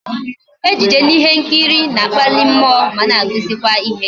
Ejije na ihe nkiri na-akpali mmụọ ma na akuzikwa ihe